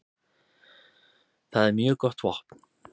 Það er mjög gott vopn.